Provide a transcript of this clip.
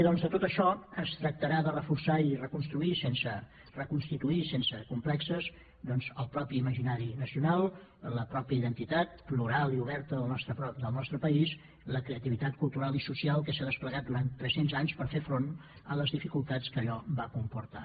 doncs de tot això es tractarà de reforçar i reconstituir sense complexos doncs el propi imaginari nacional la pròpia identitat plural i oberta del nostre país la creativitat cultural i social que s’ha desplegat durant tres cents anys per fer front a les dificultats que allò va comportar